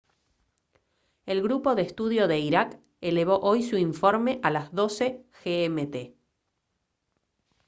el grupo de estudio de irak elevó hoy su informe a las 12:00 gmt